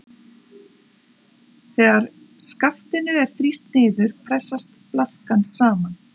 Þegar skaftinu er þrýst niður pressast blaðkan saman.